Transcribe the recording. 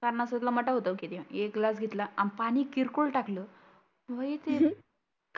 सणा सुदला एक ग्लास घेतला आणि पाणि किरकोळ टाकलं बाई ते